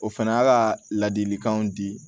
O fana y'a ka ladilikanw di